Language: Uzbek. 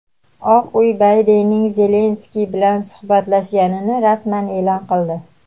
Oq uy Baydenning Zelenskiy bilan suhbatlashganini rasman eʼlon qildi.